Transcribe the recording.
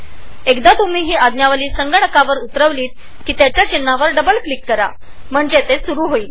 एकदा तुम्ही कॅमस्टुडिओचे सॉफ्टवेअर इनस्टॉल केले की ते चालू करण्यासाठी त्याच्या चित्रावर डबल क्लिक करा